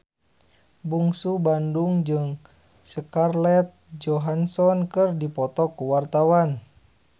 Bungsu Bandung jeung Scarlett Johansson keur dipoto ku wartawan